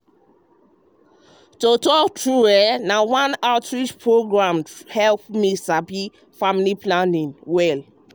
to talk true na one outreach program true true hep hep me sabi family planning way dem wella.